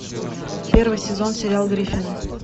первый сезон сериал гриффины